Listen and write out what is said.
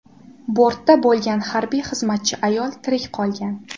Bortda bo‘lgan harbiy xizmatchi ayol tirik qolgan.